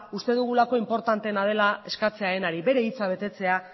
uste dugulako inportanteena dela eskatzearenari bere hitza betetzea